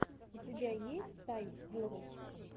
у тебя есть тай ворлд